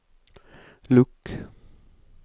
lukk